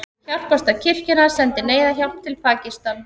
Hjálparstarf kirkjunnar sendir neyðarhjálp til Pakistan